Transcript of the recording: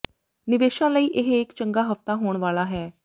ਨਿਵੇਸ਼ਾਂ ਲਈ ਇਹ ਇੱਕ ਚੰਗਾ ਹਫਤਾ ਹੋਣ ਵਾਲਾ ਹੈ